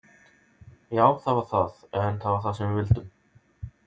Já það var það, en það var það sem við vildum.